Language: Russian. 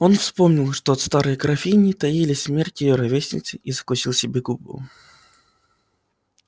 он вспомнил что от старой графини таили смерть её ровесниц и закусил себе губу